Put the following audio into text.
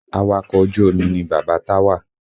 Awakọ̀ ojú omi ni bàbá Táwà